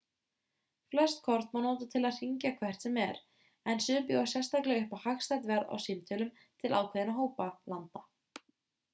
flest kort má nota til að hringja hvert sem er en sum bjóða sérstaklega upp á hagstætt verð á stímtölum til ákveðinna hópa landa